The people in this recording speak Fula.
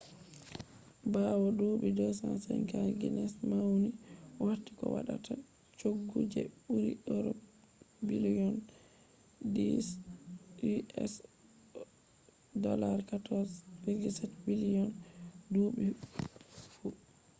bawo duubi 250 guinness mauni warti ko waddata choggu je buri euros biliyon 10 us$14.7 biliyon duubi fu